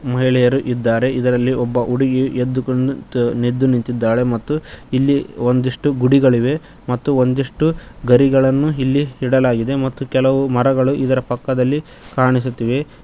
ಮಹಿಳೆಯರು ಇದ್ದಾರೆ ಇದರಲ್ಲಿ ಒಬ್ಬ ಹುಡುಗಿ ಎದ್ದು ನಿಂತಿದ್ದಾಳೆ ಮತ್ತು ಇಲ್ಲಿ ಒಂದಿಷ್ಟು ಗುಡಿಗಳಿವೆ ಮತ್ತು ಒಂದಿಷ್ಟು ಗರಿಗಳನ್ನು ಇಲ್ಲಿ ಇಡಲಾಗಿದೆ ಮತ್ತು ಕೆಲವು ಮರಗಳು ಇದರ ಪಕ್ಕದಲ್ಲಿ ಕಾಣಿಸುತ್ತೇವೆ.